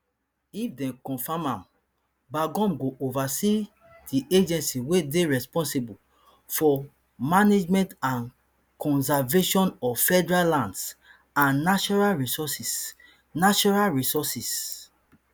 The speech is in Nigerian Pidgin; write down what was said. if dem confam am burgum go oversee di agency wey dey responsible for management and conservation of federal lands and natural resources natural resources